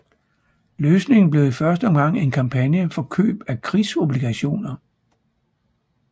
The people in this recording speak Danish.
Løsningen blev i første omgang en kampagne for køb af krigsobligationer